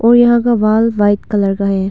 और यहां का बाल व्हाइट कलर का है।